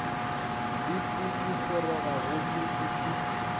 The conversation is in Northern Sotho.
le pudigoroga gomme e se